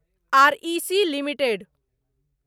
R E C limited